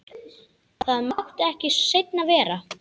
Það mátti ekki seinna vera!